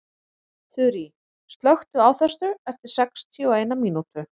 Þurý, slökktu á þessu eftir sextíu og eina mínútur.